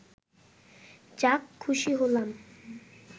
যাক খুশি হলাম